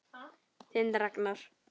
Þinn Ragnar.